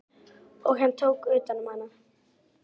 Og hann tók utan um hana.